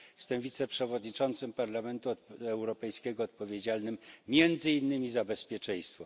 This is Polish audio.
Jestem wiceprzewodniczącym Parlamentu Europejskiego odpowiedzialnym między innymi za bezpieczeństwo.